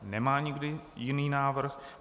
Nemá nikdo jiný návrh.